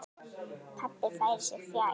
Pabbi færir sig fjær.